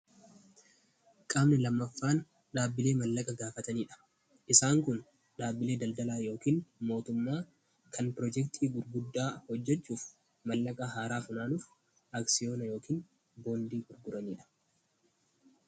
Qaamni lammaffaan dhaabbilee maallaqa gaafatanidha. Isaan kun dhaabbilee daldalaa yookiin mootummaa kan piroojektii gurguddaa hojjechuuf maallaqa haaraa funaanuun akssiyoona yookiin boondii gurguranidha.